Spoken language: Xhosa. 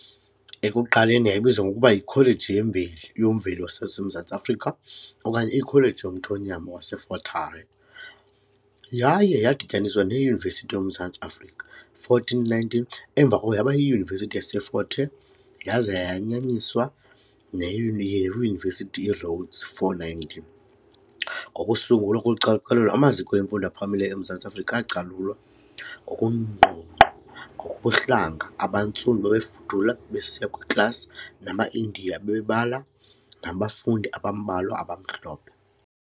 Ekuqaleni yayibizwa ngokuba yiKholeji yoMveli yaseMzantsi Afrika okanye iKholeji yoMthonyama yaseFort Hare yaye yadityaniswa neYunivesithi yoMzantsi Afrika . 419 Emva koko yaba yiYunivesithi yaseFort Hare yaza yayanyaniswa neYunivesithi iRhodes . 419 Ngokusungulwa kocalucalulo, amaziko emfundo ephakamileyo eMzantsi Afrika acalulwa ngokungqongqo ngokobuhlanga, abantsundu babefudula besiya kwiiklasi namaIndiya, abebala nabafundi abambalwa abamhlophe.